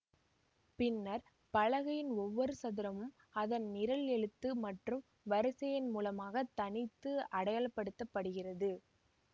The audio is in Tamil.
பின்னர் பலகையின் ஒவ்வொரு சதுரமும் அதன் நிரல் எழுத்து மற்றும் வரிசை எண் மூலமாக தனித்து அடையாளப்படுத்தப்படுகிறது